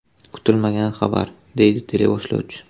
Kutilmagan xabar”, deydi teleboshlovchi.